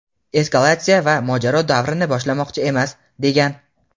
eskalatsiya va mojaro davrini boshlamoqchi emas, degan.